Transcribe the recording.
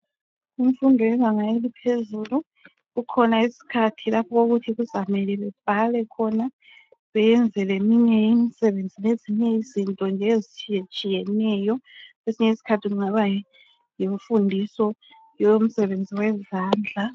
Kumfundo yebanga eliphezulu kukhona isikhathi lapho okuthi kuzamele bebhale khona, beyenze leminye imisebenzi lezinye izinto nje ezitshiyetshiyeneyo kwesinye isikhathi kungaba yimfundiso yomsebenzi wezandla.